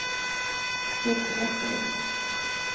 Kurt Vesterlund